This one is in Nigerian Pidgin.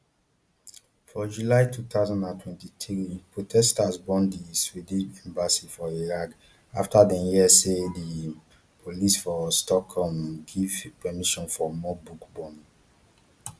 for july two thousand and twenty-three protesters burn di sweden embassy for iraq afta dem hear say di um police for stockholm um give permission for more book burning